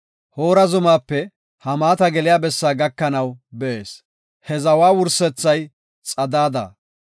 Hoora zumaape Hamaata geliya bessaa gakanaw bees; he zawa wursethay Xadaada.